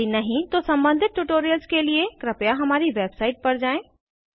यदि नहीं तो सम्बंधित ट्यूटोरियल्स के लिए कृपया हमारी वेबसाइट पर जाएँ